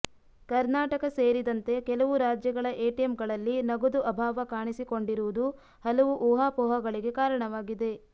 ಕರ್ನಾಟಕ ಸೇರಿದಂತೆ ಕೆಲವು ರಾಜ್ಯಗಳ ಎಟಿಎಂಗಳಲ್ಲಿ ನಗದು ಅಭಾವ ಕಾಣಿಸಿಕೊಂಡಿರುವುದು ಹಲವು ಊಹಾಪೋಹಗಳಿಗೆ ಕಾರಣವಾಗಿದೆ